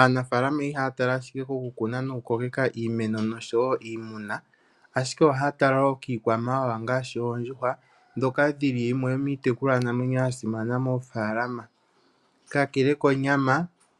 Aanafalama ihaya tala ashike kokukuna nokukokeka iimeno nosho iimuna. Ashike ohaya tala wo kiikwamawawa ngaashi oondjuhwa ndhoka dhili yimwe yomiitekulwanamwenyo yasimana moofaalama. Kakele konyama